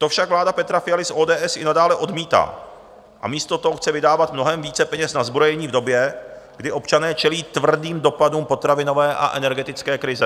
To však vláda Petra Fialy z ODS i nadále odmítá a místo toho chce vydávat mnohem více peněz na zbrojení v době, kdy občané čelí tvrdým dopadům potravinové a energetické krize.